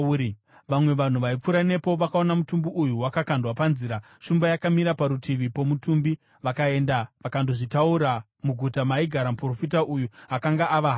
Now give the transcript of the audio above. Vamwe vanhu vaipfuura nepo vakaona mutumbi uyu wakakandwa panzira, shumba yakamira parutivi pomutumbi, vakaenda vakandozvitaura muguta maigara muprofita uya akanga ava harahwa.